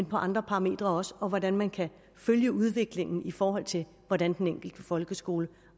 på andre parametre og hvordan man kan følge udviklingen i forhold til hvordan den enkelte folkeskole